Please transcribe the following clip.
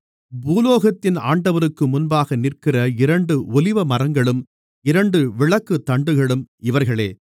பூலோகத்தின் ஆண்டவருக்கு முன்பாக நிற்கிற இரண்டு ஒலிவமரங்களும் இரண்டு விளக்குத்தண்டுகளும் இவர்களே